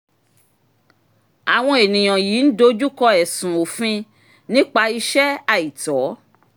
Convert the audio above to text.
àwọn ènìyàn yìí ń dojú kọ ẹ̀sùn òfin nípa iṣẹ́ àìtọ́.